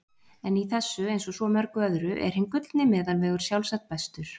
En í þessu, eins og svo mörgu öðru, er hinn gullni meðalvegur sjálfsagt bestur.